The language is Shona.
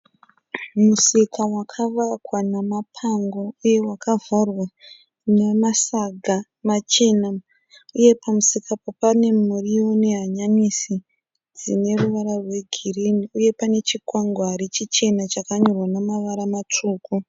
Musika wakavakwa nemapango uye wakavharwa nemasaga machena uye pamusika apa pane muriwo nehanyanisi dzine ruvara rwegirinhi uye pane chikwangwari chichena chikanyorwa nemavara matsvuku.